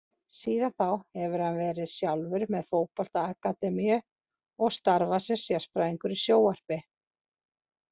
Síðan þá hefur hann verið sjálfur með fótbolta akademíu og starfað sem sérfræðingur í sjónvarpi.